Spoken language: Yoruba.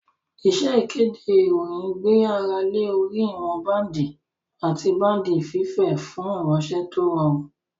Iṣẹ́ ìkéde ìròyìn gbé ara lé orí ìwọn báǹdì àti báǹdì fífẹ̀ fún ìránṣẹ́ tó rọrùn